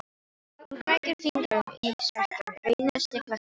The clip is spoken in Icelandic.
Hún krækir fingrum í smekkinn, reynir að stilla sig.